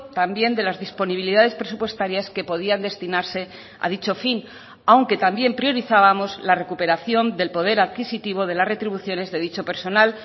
también de las disponibilidades presupuestarias que podían destinarse a dicho fin aunque también priorizábamos la recuperación del poder adquisitivo de las retribuciones de dicho personal